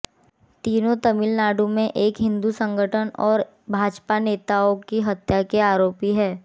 तीनों तमिलनाडु में एक हिंदू संगठन और भाजपा नेताओं की हत्या के आरोपी हैं